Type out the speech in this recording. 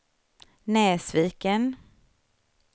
Näsviken